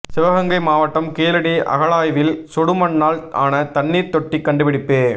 சிவகங்கை மாவட்டம் கீழடி அகழாய்வில் சுடுமண்ணால் ஆன தண்ணீர் தொட்டி கண்டுபிடிப்பு